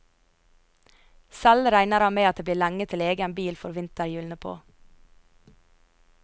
Selv regner han med at det blir lenge til egen bil får vinterhjulene på.